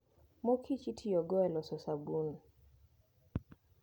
Mor Kicho itiyogo e loso sabun.